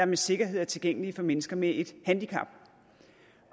med sikkerhed er tilgængelige for mennesker med et handicap